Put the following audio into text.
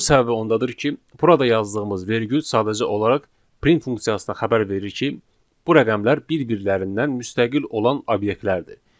Bunun səbəbi ondadır ki, burada yazdığımız vergül sadəcə olaraq print funksiyasına xəbər verir ki, bu rəqəmlər bir-birlərindən müstəqil olan obyektlərdir.